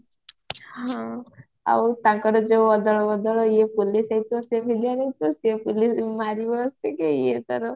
ଆଉ ତାଙ୍କର ଯୋଉ ଅଦଳ ବଦଳ ଇଏ police ହେଇଥିବ ସିଏ ଭିଲିଆନ ହେଇଥିବ ସିଏ ମାରିବା ଆସିକି ଇଏ ତାର